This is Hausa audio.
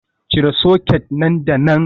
Cire soket nan da nan.